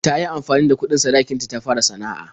Ta yi amfani da kuɗin sadakin ta ta fara sana'a.